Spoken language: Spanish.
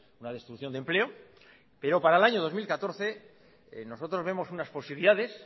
una destrucción de empleo pero para el año dos mil catorce nosotros vemos unas posibilidades